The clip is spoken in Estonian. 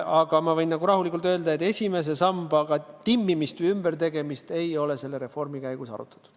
Aga ma võin rahulikult öelda, et esimese samba timmimist või ümbertegemist ei ole selle reformi käigus arutatud.